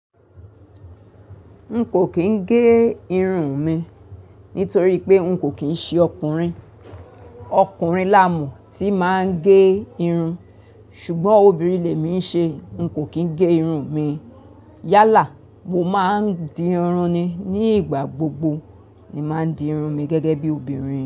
N kò kín gé irun mi nítorí pé n kò kín ṣe ọkùnrin. Ọkùnrin lá mo tí máa ń gé irun, ṣùgbọ́n obìnrin lẹ mí ń ṣe, n kò kín gé irun mi. Yálà, mo máa ń di irun ni. Ni ìgbà gbogbo ni máa ń di irun mi gẹ́gẹ́ bí obìnrin.